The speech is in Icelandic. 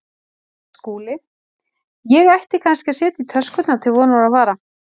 SKÚLI: Ég ætti kannski að setja í töskurnar til vonar og vara.